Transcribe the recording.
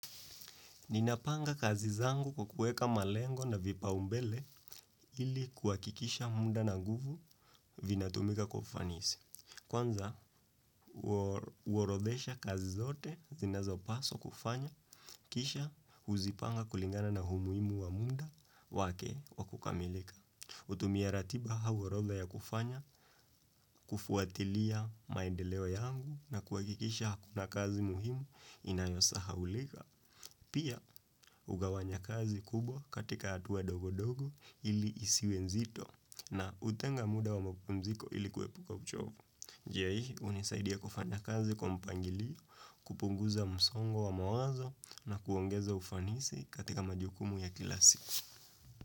Ninapanga kazi zangu kwa kueka malengo na vipa umbele ili kuhakikisha muda na nguvu vina tumika kwa ufanisi. Kwanza, uorodhesha kazi zote zinazo paswa kufanya, kisha huzipanga kulingana na umuhimu wa muda wake wakukamilika. Utumia ratiba au horodha ya kufanya, kufuatilia maendeleo yangu na kuakikisha hakuna kazi muhimu inayosahaulika. Pia, ugawanya kazi kubwa katika hatuwa dogo dogo ili isiwe nzito na utenga muda wa mpumziko ili kuepuka uchovu. Njia hii hunisaidia kufanya kazi kwa mpangilio, kupunguza msongo wa mawazo na kuongeza ufanisi katika majukumu ya kilasiku.